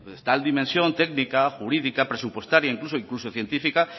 tal dimensión técnica jurídica presupuestaria incluso científica